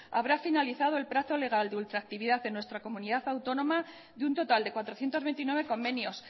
habrá finalizado el plazo legal de ultractividad en nuestra comunidad autónoma de un total de cuatrocientos veintinueve convenios